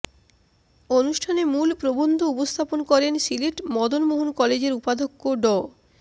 অনুষ্ঠানে মূল প্রবন্ধ উপস্থাপন করেন সিলেট মদন মোহন কলেজের উপাধ্যক্ষ ড